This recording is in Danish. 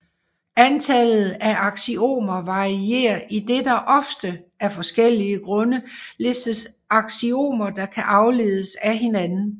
Antallet af aksiomer varierer idet der ofte af forskellige grunde listes aksiomer der kan afledes af hinanden